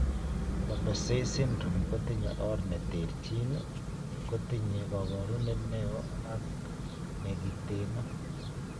Barber Say syndrome kotinye or ne terchin, kotinye koporunet neo ak negiteno.